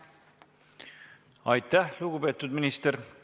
Aitäh, lugupeetud minister!